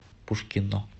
пушкино